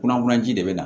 Kunnafoniyaji de bɛ na